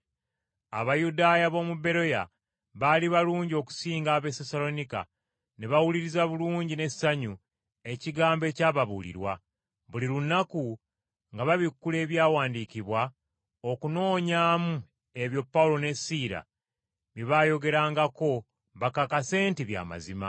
Abayudaaya b’omu Beroya baali balungi okusinga ab’e Sessaloniika, ne bawuliriza bulungi n’essanyu Ekigambo ekyababuulirwa. Buli lunaku nga babikkula Ebyawandiikibwa okunoonyaamu ebyo Pawulo ne Siira bye baayogerangako bakakase nti bya mazima.